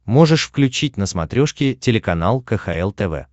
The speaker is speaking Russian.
можешь включить на смотрешке телеканал кхл тв